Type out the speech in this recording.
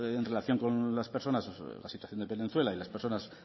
en relación con las personas la situación de venezuela y las personas